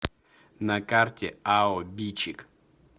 на карте ао бичик